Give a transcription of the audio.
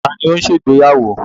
Taàní ó ń ṣe ìgbéyàwó?